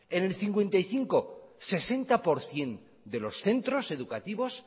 el cincuenta y cinco sesenta por ciento de los centros educativos